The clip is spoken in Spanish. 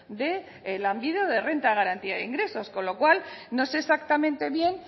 de lanbide o de renta de garantía de ingresos con lo cual no sé exactamente bien